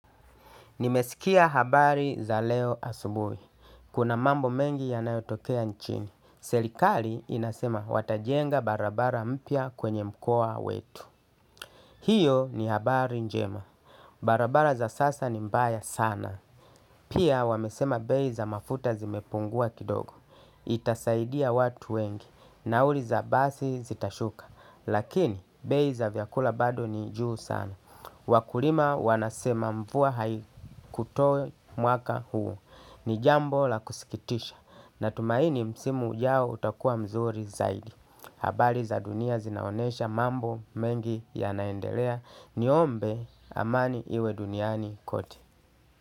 Nimesikia habari za leo asubuhi. Kuna mambo mengi yanayotokea nchini. Serikali inasema watajenga barabara mpya kwenye mkoa wetu. Hiyo ni habari njema. Barabara za sasa ni mbaya sana. Pia wamesema bei za mafuta zimepungua kidogo. Itasaidia watu wengi. Nauli za basi zitashuka. Lakini bei za vyakula bado ni juu sana. Wakulima wanasema mvua haikutoe mwaka huo. Ni jambo la kusikitisha. Natumaini msimu yao utakua mzuri zaidi. Habari za dunia zinaonesha mambo mengi ya naendelea. Ni ombe amani iwe duniani kote.